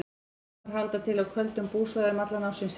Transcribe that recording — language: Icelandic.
Sumir halda til á köldum búsvæðum allan ársins hring.